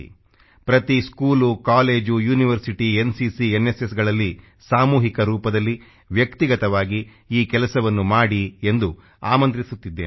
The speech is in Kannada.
ಪ್ರತಿ ಸ್ಕೂಲ್ ಕಾಲೆಜ್ ಯೂನಿವರ್ಸಿಟಿ ಎನ್ಸಿಸಿ NSSಗಳಲ್ಲಿ ಸಾಮೂಹಿಕ ರೂಪದಲ್ಲಿ ವ್ಯಕ್ತಿಗತವಾಗಿ ಈ ಕೆಲಸವನ್ನು ಮಾಡಿ ಎಂದು ಆಮಂತ್ರಿಸುತ್ತಿದ್ದೇನೆ